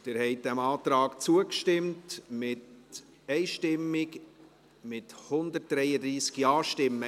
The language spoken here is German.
Sie haben diesem Antrag einstimmig zugestimmt, mit 133 Ja-Stimmen.